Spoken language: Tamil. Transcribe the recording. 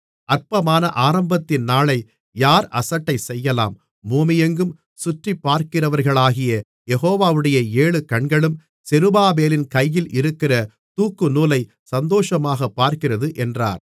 அற்பமான ஆரம்பத்தின் நாளை யார் அசட்டைசெய்யலாம் பூமியெங்கும் சுற்றிப்பார்க்கிறவைகளாகிய யெகோவாவுடைய ஏழு கண்களும் செருபாபேலின் கையில் இருக்கிற தூக்குநூலை சந்தோஷமாகப் பார்க்கிறது என்றார்